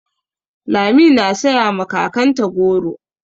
Lami na saya ma kakanta goro.